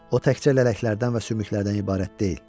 O təkcə lələklərdən və sümüklərdən ibarət deyil.